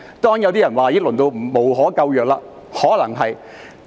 當然，有些人說已經淪落得無可救藥，可能是的。